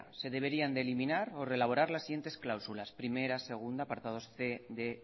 se deberían de eliminar o reelaborar las siguientes cláusulas primera segunda apartados cien